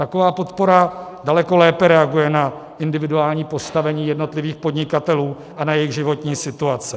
Taková podpora daleko lépe reaguje na individuální postavení jednotlivých podnikatelů a na jejich životní situace.